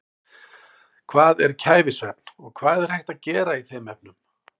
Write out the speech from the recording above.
Hvað er kæfisvefn og hvað er hægt að gera í þeim efnum?